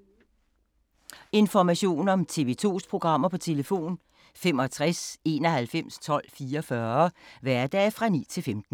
Information om TV 2's programmer: 65 91 12 44, hverdage 9-15.